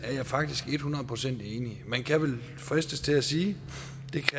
faktisk et hundrede procent enig man kan vel fristes til at sige